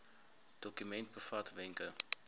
dokument bevat wenke